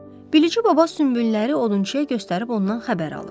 Bilici baba sümbülləri odunçuya göstərib ondan xəbər alır.